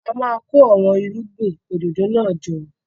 A máa kó àwọn irúgbìn òdòdó náà jọ.